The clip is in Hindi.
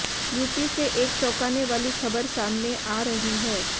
यूपी से एक चौंकाने वाली खबर सामने आ रही है